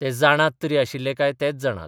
ते जाणात तरी आशिल्ले काय तेच जाणात.